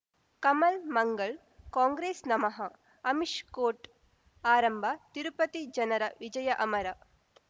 ಕಮಲ್ ಮಂಗಳ್ ಕಾಂಗ್ರೆಸ್ ನಮಃ ಅಮಿಷ್ ಕೋರ್ಟ್ ಆರಂಭ ತಿರುಪತಿ ಜನರ ವಿಜಯ ಅಮರ